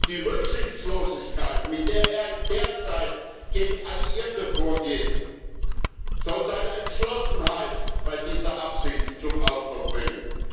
Die Rücksichtslosigkeit, mit der er derzeit gegen Alliierte vorgeht, soll seine Entschlossenheit bei dieser Absicht zum Ausdruck bringen.